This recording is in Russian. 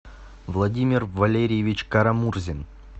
владимир валерьевич карамурзин